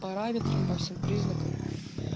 параметрам по всем признакам